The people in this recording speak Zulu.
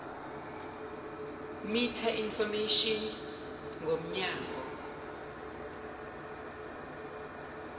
meta information ngomnyango